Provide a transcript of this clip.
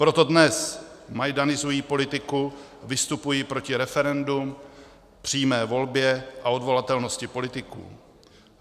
Proto dnes majdanizují politiku, vystupují proti referendu, přímé volbě a odvolatelnosti politiků.